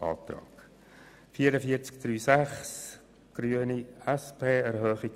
Diese Planungserklärung würden wir annehmen.